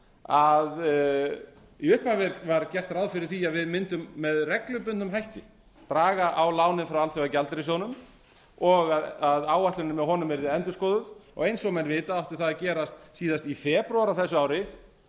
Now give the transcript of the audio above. að í upphafi var gert ráð fyrir því að við mundum með reglubundnum hætti draga á lánin frá alþjóðagjaldeyrissjóðnum og að áætlunin með honum yrði endurskoðuð og eins og menn vita átti það að gerast síðast í febrúar á þessu ári en það hefur ekkert